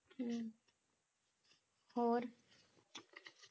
ਹਮ ਹੋਰ